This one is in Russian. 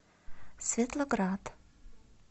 светлоград